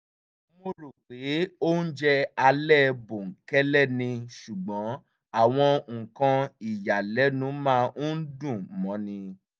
mo rò pé oúnjẹ alẹ̀ bòńkẹ́lẹ́ ni ṣùgbọ́n àwọn nǹkan ìyàlẹ́nu máa ń dùn mọ́ni